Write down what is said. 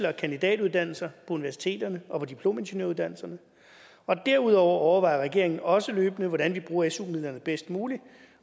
og kandidatuddannelser universiteterne og på diplomingeniøruddannelserne og derudover overvejer regeringen også løbende hvordan vi bruger su midlerne bedst muligt